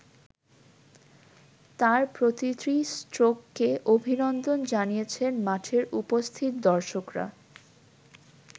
তাঁর প্রতিটি স্ট্রোককে অভিনন্দন জানিয়েছেন মাঠে উপস্থিত দর্শকরা।